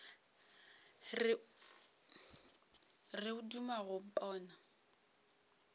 re o duma go mpona